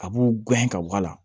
A b'u gɛn ka bɔ a la